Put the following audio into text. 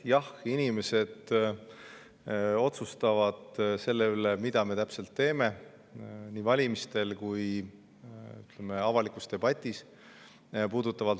Jah, inimesed otsustavad selle üle, mida me täpselt teeme, nii valimistel kui avalikus debatis.